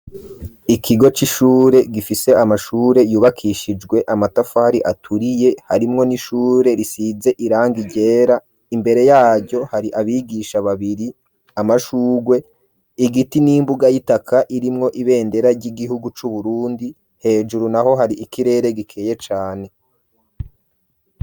Ikigo c'ishure, gifise amashure, yubakishijwe amatafari, aturiye, harimwo n'ishure, risize irangi ryera; imbere yaryo, hari abigisha babiri, amashurwe, igiti, n'imbuga y'itaka, irimwo ibendera, ry'igihugu c'Uburundi; hejuru naho, hari ikirere, gikeye cane.